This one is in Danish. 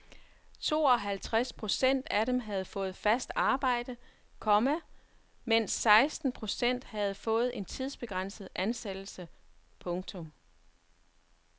Tooghalvtres procent af dem havde fået fast arbejde, komma mens seksten procent havde fået en tidsbegrænset ansættelse. punktum